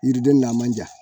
Yiriden n'a man ja